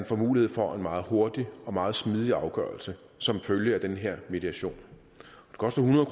får mulighed for en meget hurtig og meget smidig afgørelse som følge af den her mediation det koster hundrede